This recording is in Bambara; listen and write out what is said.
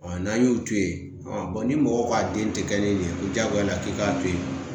n'an y'o to yen ni mɔgɔ k'a den tɛ kɛ kelen ye ko jagoya k'i k'a to yen